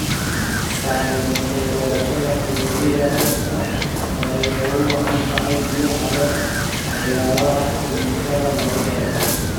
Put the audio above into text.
Saamayn ku yeelashada fayoobida dhirta oo ay ugu wacan tahay biyaha leh waxyaabaha kiimikada lagu daro.